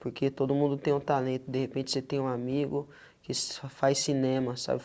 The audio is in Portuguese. Porque todo mundo tem um talento, de repente você tem um amigo que só faz cinema, sabe?